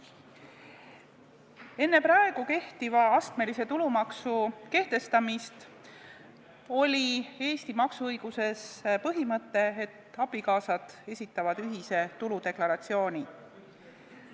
Enne praegu kehtiva astmelise tulumaksu kehtestamist oli Eesti maksuõiguses põhimõte, et abikaasad esitavad ühise tuludeklaratsiooni.